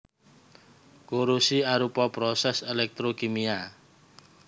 Korosi arupa prosès elektrokimia